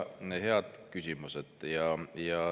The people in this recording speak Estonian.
Väga head küsimused.